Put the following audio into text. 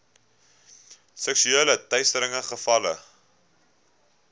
seksuele teistering gevalle